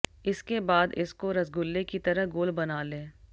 इसके बाद इसको रसगुल्ले की तरह गोल बना लें